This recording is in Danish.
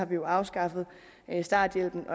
vi jo afskaffet starthjælpen